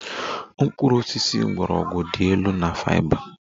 Mkpụrụ osisi mgbọrọgwụ dị elu na fiber